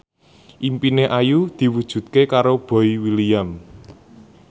impine Ayu diwujudke karo Boy William